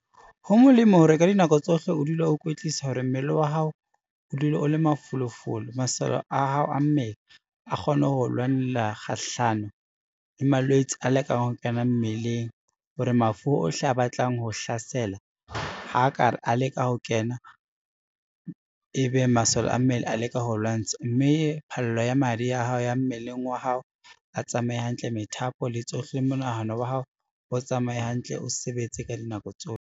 Ho molemo hore ka dinako tsohle o dule o ikwetlisa hore mmele wa hao o dule o le mafolofolo, masole a hao a mmele a kgone ho lwanela kgahlano le malwetse a lekang ho kena mmeleng, hore mafu ohle a batlang ho hlasela ha ka re a leka ho kena, ebe masole a mmele a leka ho lwantsha, mme phallo ya madi ya hao ya mmeleng wa hao a tsamaye hantle, methapo le tsohle, monahano wa hao o tsamaye hantle, o sebetse ka dinako tsohle.